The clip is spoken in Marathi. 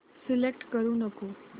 सिलेक्ट करू नको